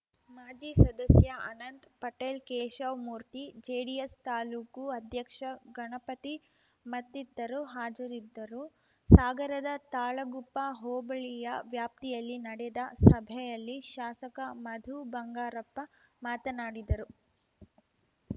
ಮಾಜಿ ಸದಸ್ಯಅನಂತ್ ಪಟೇಲ್‌ ಕೇಶವ್ ಮೂರ್ತಿ ಜೆಡಿಎಸ್‌ ತಾಲೂಕು ಅಧ್ಯಕ್ಷ ಗಣಪತಿ ಮತ್ತಿತರು ಹಾಜರಿದ್ದರು ಸಾಗರದ ತಾಳಗುಪ್ಪ ಹೋಬಳಿಯ ವ್ಯಾಪ್ತಿಯಲ್ಲಿ ನಡೆದ ಸಭೆಯಲ್ಲಿ ಶಾಸಕ ಮಧು ಬಂಗಾರಪ್ಪ ಮಾತನಾಡಿದರು